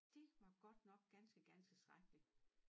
Det var godt nok godt nok ganske ganske skrækkelig